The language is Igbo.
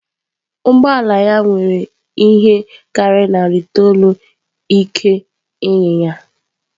Ụgbọ ala ya nwere ihe karịrị narị itoolu ike inyinya.